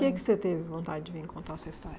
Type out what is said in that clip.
Por que que você teve vontade de vir contar sua história?